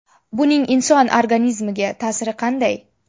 Buning inson organizmiga ta’siri qanday?